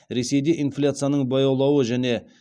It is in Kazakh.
ресейде инфляцияның баяулауы және